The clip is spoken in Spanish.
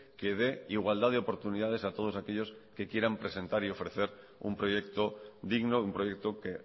que dé igualdad de oportunidades a todos aquellos que quieran presentar y ofrecer un proyecto digno un proyecto que